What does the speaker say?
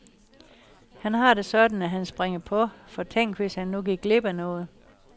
Han har det sådan, at han springer på, for tænk hvis han nu gik glip af noget.